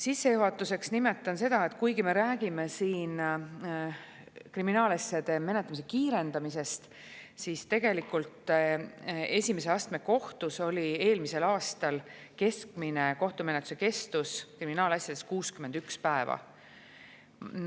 Sissejuhatuseks nimetan seda, et kuigi me räägime siin kriminaalasjade menetlemise kiirendamisest, siis tegelikult esimese astme kohtus oli eelmisel aastal keskmine kohtumenetluse kestus kriminaalasjade puhul 61 päeva.